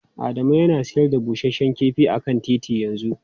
Adamu yana sayar da busasshen kifi a kan titi yanzu.